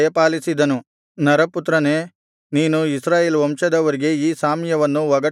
ನರಪುತ್ರನೇ ನೀನು ಇಸ್ರಾಯೇಲ್ ವಂಶದವರಿಗೆ ಈ ಸಾಮ್ಯವನ್ನು ಒಗಟಾಗಿ ಹೇಳು